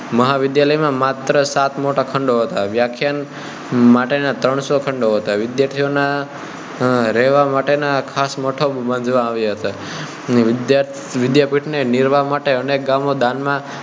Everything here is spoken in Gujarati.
મહાવિદ્યાલય માં માત્ર સાત મોટા ખંડો હતા વ્યાખ્યાયન માટેનાં ત્રણસો ખંડો હતા વિદ્યાર્થીઓ નાં રહેવાં માટેનાં ખાસ મઠો બાંધવામાં આવ્યાં હતાં વિદ્યાપીઠ ને નિર્વાહ માટે અનેક ગામો દાન માં